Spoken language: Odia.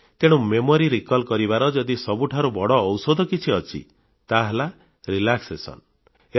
ତେଣୁ ସ୍ମରଣ ଶକ୍ତି ବୃଦ୍ଧି କରିବାର ଯଦି ସବୁଠାରୁ ବଡ଼ ଔଷଧ କିଛି ଅଛି ତାହା ହେଲା ଚାପମୁକ୍ତ ମନ ଅଥବା ଆରାମ କରିବା